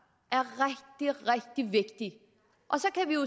er rigtig rigtig vigtig